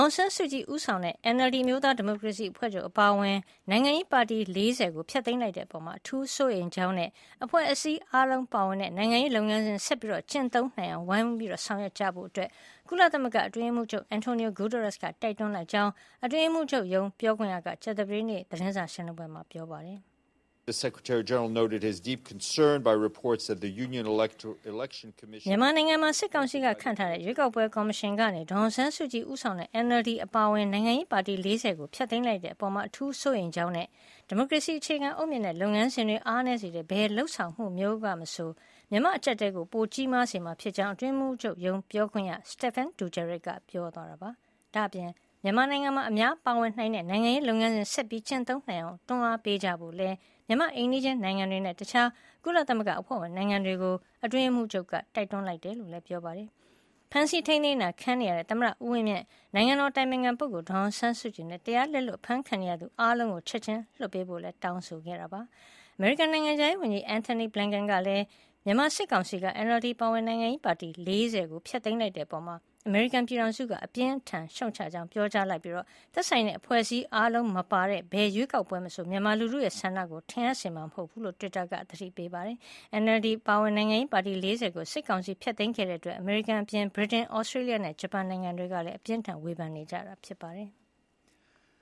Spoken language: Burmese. င်ဆန်းစုကြည် ဦးဆောင်တဲ့ NLD အမျိုးသားဒီမိုကရေစီအဖွဲ့ချုပ် အပါအဝင် နိုင်ငံရေးပါတီ ၄၀ ကို ဖျက်သိမ်းလိုက်တဲ့အပေါ် အထူးစိုးရိမ်ကြောင်းနဲ့ အဖွဲ့အစည်းအားလုံး ပါဝင်တဲ့ နိုင်ငံရေးလုပ်ငန်းစဉ် ဆက်ကျင့်သုံးနိုင်အောင် ဝိုင်းဝန်းဆောင်ရွက်ကြဖို့ ကုလသမဂ္ဂ အတွင်းရေးမှုးချုပ် António Guterres က တိုက်တွန်းလိုက်ကြောင်း အတွင်းရေးမှုးချုပ်ရုံး ပြောခွင့်ရက ကြာသပတေးနေ့ ကုလရုံးချုပ် သတင်းစာရှင်းလင်းပွဲမှာ ပြောပါတယ်။ မြန်မာနိုင်ငံမှာ စစ်ကောင်စီက ခန့်ထားတဲ့ ရွေးကောက်ပွဲကော်မရှင်က ဒေါ်အောင်ဆန်းစုကြည်ဦးဆောင်တဲ့ NLD အပါအဝင် နိုင်ငံရေးပါတီ ၄၀ ကို ဖျက်သိမ်းလိုက်တဲ့အပေါ် အထူးစိုးရိမ်ကြောင်းနဲ့ ဒီမိုကရေစီ အခြေခံအုတ်မြစ်နဲ့ လုပ်ငန်းစဉ်တွေ အားနည်းစေတဲ့ ဘယ်လုပ်ဆောင်မှုမျိုးကမဆို မြန်မာ့အကျပ်အတည်းကို ပိုကြီးမားစေမှာ ဖြစ်ကြောင်း အတွင်းရေးမှုးချုပ်ရုံး ပြောခွင့်ရ Stephane Dujarric က ပြောသွာပါတယ်။ ဒါ့အပြင် မြန်မာနိုင်ငံမှာ အများပါဝင်နိုင်တဲ့ နိုင်ငံရေးလုပ်ငန်းစဉ် ဆက်လက်ကျင့်သုံးနိုင်အောင် တွန်းအားပေးကြဖို့လည်း မြန်မာ့အိမ်နီးချင်းနိုင်ငံတွေနဲ့ တခြား ကုလသမဂ္ဂအဖွဲ့ဝင်နိုင်ငံတွေကို ကုလသမဂ္ဂ အတွင်းရေးမှုးချုပ်က တိုက်တွန်းလိုက်တယ် လို့လည်း ပြောပါတယ်။ ဖမ်းဆီးထိမ်းသိမ်းတာ ခံနေရတဲ့ သမ္မတ ဦးဝင်းမြင့်၊ နိုင်ငံတော်အတိုင်ပင်ခံ ပုဂ္ဂိုလ်ဒေါ်အောင်ဆန်းစုကြည်နဲ့ တရားလက်လွတ် အဖမ်းခံနေရသူ အားလုံးကို ချက်ခြင်း လွှတ်ပေးဖို့လည်း အတွင်းရေးမှုးချုပ် António Guterres က တောင်းဆိုတဲ့အကြောင်းလည်း ကြေညာချက်မှာ ဖေါ်ပြပါတယ်။ အမေရိကန် နိုင်ငံခြားရေးဝန်ကြီး Anthony Blinken ကလည်း မြန်မာစစ်ကောင်စီက NLD အပါအဝင် နိုင်ငံရေးပါတီ ၄၀ ကို ဖျက်သိမ်းလိုက်တဲ့အပေါ် အမေရိကန်ပြည်ထောင်စုက အပြင်းအထန် ရှုတ်ချကြောင်း ပြောကြားလိုက်ပြီး သက်ဆိုင်တဲ့ အဖွဲ့အစည်းအားလုံး မပါတဲ့ ဘယ်ရွေးကောက်ပွဲမဆို မြန်မာလူထုရဲ့ ဆန္ဒကို ထင်ဟပ်စေမှာ မဟုတ်ဖူးလို့ တွစ်တာကနေ သတိပေးလိုက်ပါတယ်။ NLD အပါအဝင် နိုင်ငံရေးပါတီ ၄၀ ကို စစ်ကောင်စီက ဖျက်သိမ်းခဲ့တာအတွက် အမေရိကန်အပြင် ဗြိတိန်၊ သြစတေးလျနဲ့ ဂျပန်နိုင်ငံတွေကလည်း အပြစ်တင် ဝေဖန်နေကြတာ ဖြစ်ပါတယ်။